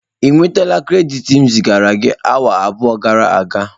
Ị nwetala krediti m zigara gi awa abụọ gara aga?